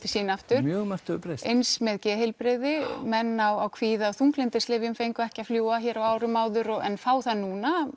sín aftur mjög margt hefur breyst eins með geðheilbrigði menn á kvíða og þunglyndislyfjum fengu ekki að fljúga á árum áður en fá það núna